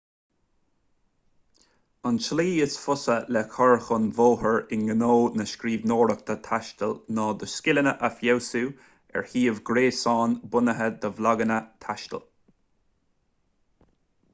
an tslí is fusa le cur chun bóthair i ngnó na scríbhneoireachta taistil ná do scileanna a fheabhsú ar shuíomh gréasáin bunaithe do bhlaganna taistil